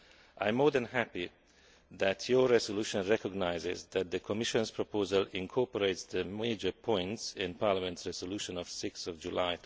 I am more than happy that your resolution recognises that the Commission's proposal incorporates the major points in Parliament's resolution of 6 July